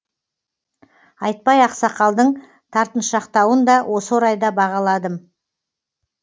айтбай ақсақалдың тартыншақтауын да осы орайда бағаладым